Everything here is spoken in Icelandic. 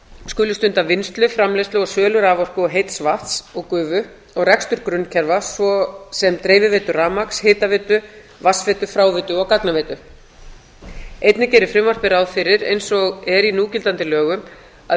skuli stunda vinnslu framleiðslu og sölu raforku og heits vatns og gufu og rekstur grunnkerfa svo sem dreifiveitu rafmagns hitaveitu vatnsveitu fráveitu og gagnaveitu einnig gerir frumvarpið ráð fyrir eins og er í núgildandi lögum að